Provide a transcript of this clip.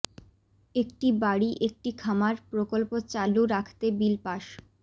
একটি বাড়ি একটি খামার প্রকল্প চালু রাখতে বিল পাস